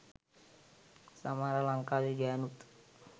සමහර ලංකාවේ ගෑනුත්